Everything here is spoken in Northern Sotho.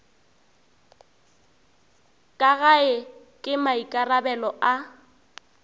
ka gae ke maikarabelo a